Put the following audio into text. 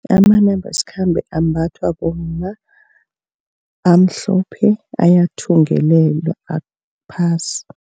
Amanambasikhambe ambathwa bomma amhlophe ayathungelelwa aphasi.